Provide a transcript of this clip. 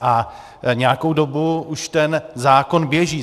A nějakou dobu už ten zákon běží.